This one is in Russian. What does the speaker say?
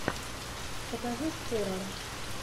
покажи хоррор